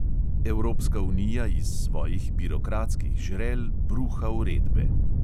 Evropska unija iz svojih birokratskih žrel bruha uredbe.